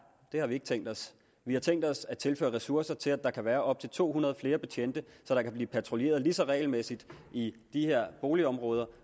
det har vi ikke tænkt os vi har tænkt os at tilføre ressourcer til at der kan være op til to hundrede flere betjente så der kan blive patruljeret lige så regelmæssigt i de her boligområder